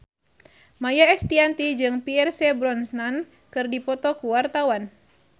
Maia Estianty jeung Pierce Brosnan keur dipoto ku wartawan